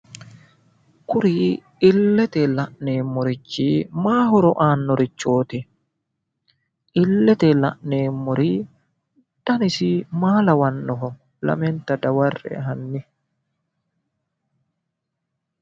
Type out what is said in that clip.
Kuri illete la'neemorichi maayi horo aanorichooti? Illete la'neemori danisi maa lawanoho? lamenta daware"e hanni